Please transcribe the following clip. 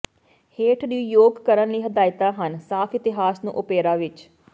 ਹੇਠ ਨੂੰ ਯੋਗ ਕਰਨ ਲਈ ਹਦਾਇਤਾ ਹਨ ਸਾਫ ਇਤਿਹਾਸ ਨੂੰ ਓਪੇਰਾ ਵਿੱਚ